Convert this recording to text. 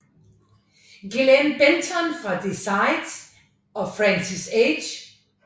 Glen Benton fra Deicide og Francis H